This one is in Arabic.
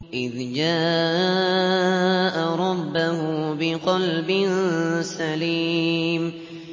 إِذْ جَاءَ رَبَّهُ بِقَلْبٍ سَلِيمٍ